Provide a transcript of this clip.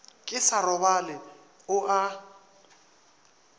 ke sa robale o a